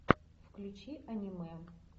включи аниме